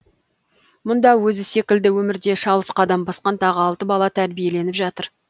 мұнда өзі секілді өмірде шалыс қадам басқан тағы алты бала тәрбиеленіп жатыр